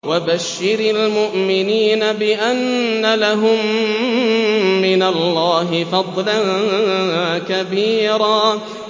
وَبَشِّرِ الْمُؤْمِنِينَ بِأَنَّ لَهُم مِّنَ اللَّهِ فَضْلًا كَبِيرًا